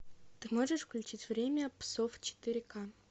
ты можешь включить время псов четыре ка